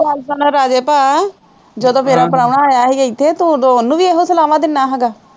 ਗੱਲ ਸੁਣ ਰਾਜੇ ਭਾਅ ਜਦੋਂ ਮੇਰਾ ਪ੍ਰਾਹੁਣਾ ਆਇਆ ਸੀ ਇੱਥੇ ਤੂੰ ਉਹਨੂੰ ਵੀ ਇਹੋ ਸਲਾਹਾਂ ਦਿੰਦਾ ਹੈਗਾ,